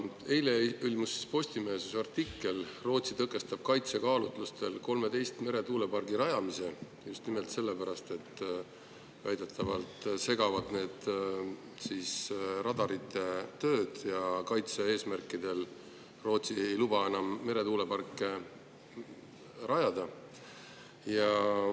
Eile ilmus Postimehes artikkel selle kohta, et Rootsi tõkestab kaitsekaalutlustel 13 meretuulepargi rajamise just nimelt sellepärast, et need segavad väidetavalt radarite tööd, kaitse‑eesmärkidel ei luba Rootsi seda meretuuleparki rajada.